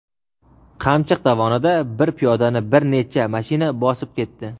Qamchiq dovonida bir piyodani bir necha mashina bosib ketdi.